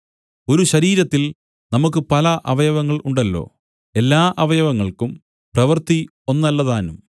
ഒരു ശരീരത്തിൽ നമുക്കു പല അവയവങ്ങൾ ഉണ്ടല്ലോ എല്ലാ അവയവങ്ങൾക്കും പ്രവൃത്തി ഒന്നല്ലതാനും